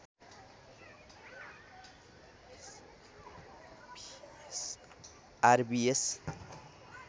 are V S